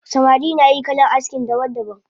Samari nayin kalan aski daban daban